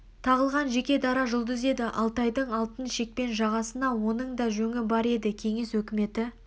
тағылған жеке дара жұлдыз еді алтайдың алтын шекпен жағасына оның да жөңі бар еді қенес өкіметі